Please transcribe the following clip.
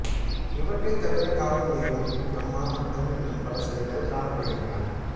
இவற்றைத் தவிர காவல் தெய்வம் பிரம்மா மற்றும் இன்னும் பல சிலைகள் காணப்படுகின்றன